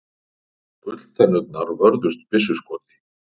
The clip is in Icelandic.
Gulltennurnar vörðust byssuskoti